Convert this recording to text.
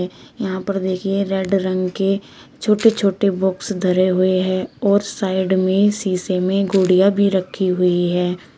यहां पर देखिए रेड रंग के छोटे छोटे बॉक्स धरे हुए है और साइड में शीशे में गुड़िया भी रखी हुई है।